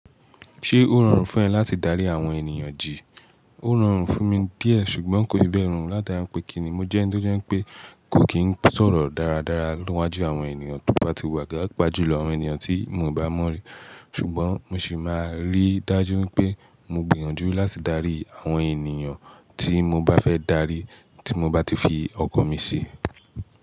Ṣé ó rọrùn fún ẹ láti dárí àwọn ènìyàn jì? Ó rọrùn fún mi díẹ̀ ṣùgbọ́n kò fi bẹ́ rorù láti ara pé kí ni mo jẹ́ ń tó jẹ́ pé kò kín sọ̀rọ̀ dáradára niwajú àwọn ènìyàn tó bá ti wà paàpá jùlọ àwọn ènìyàn tí mi ò bá mọ̀ rí. Ṣùgbọ́n mo sì máa rí dájú pé mo gbìyànjú láti darí àwọn ènìyàn tí mo bá fẹ́ darí tí mo bá ti fi ọkan mi sí.